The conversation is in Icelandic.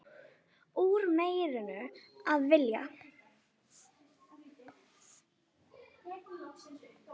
Úr meiru að velja!